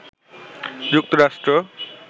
যুক্তরাষ্ট্র